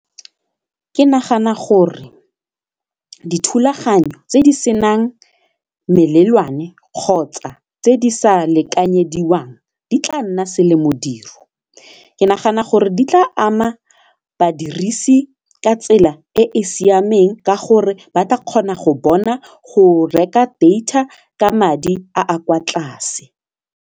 Ke nagana gore dithulaganyo tse di senang melelwane kgotsa tse di sa lekanyediwang di tla nna selemodiro ke nagana gore di tla ama badirisi ka tsela e e siameng ka gore ba tla kgona go bona go reka data ka madi a a kwa tlase.